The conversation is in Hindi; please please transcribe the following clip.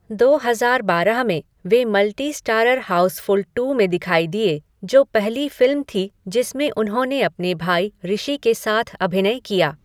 दो हज़ार बारह में, वे मल्टी स्टारर हाउसफ़ुल टू में दिखाई दिए, जो पहली फिल्म थी जिसमें उन्होंने अपने भाई ऋषि के साथ अभिनय किया।